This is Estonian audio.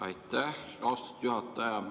Aitäh, austatud juhataja!